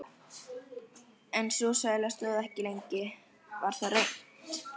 En sú sæla stóð ekki lengi: Það varð reimt.